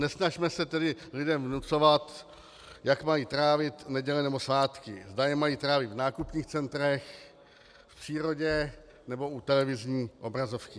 Nesnažme se tedy lidem vnucovat, jak mají trávit neděle nebo svátky, zda je mají trávit v nákupních centrech, v přírodě nebo u televizní obrazovky.